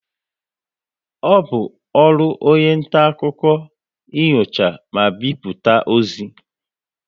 Ọ bụ ọrụ onye nta akụkọ inyocha ma bipụta ozi